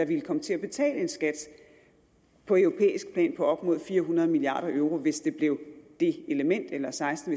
ville komme til at betale en skat på europæisk plan på op mod fire hundrede milliard euro hvis det blev det element eller seksten